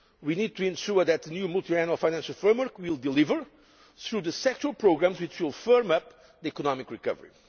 We need to ensure that the new Multiannual Financial Framework will deliver through the sectoral programmes, which will firm up the economic recovery.